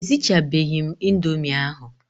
E sichabeghi m indomie ahụ.